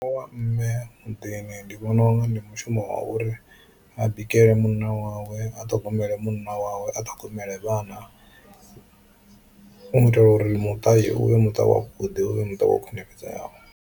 Mushumo wa mme muḓini ndi vhona unga ndi mushumo wa uri a bikele munna wawe, a ṱhogomele munna wawe, a ṱhogomele vhana hu u itela uri muṱa u vhe muṱa wavhuḓi u vhe muṱa wo khwinifhadzeaho.